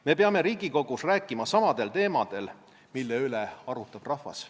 Me peame Riigikogus rääkima samadel teemadel, mille üle arutab rahvas.